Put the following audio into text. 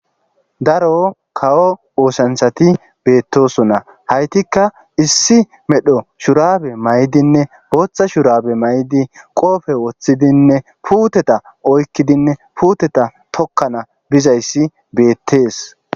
Daro kawo oosanthati beettosona haytikka issi medho shurabe may7dinne booththa shurabe may7di qoofe woththidinne puuteta oykkidinne puuteta tokkana bizayssi beettees.